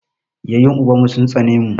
Yaƴen uban mu sun tsane mu.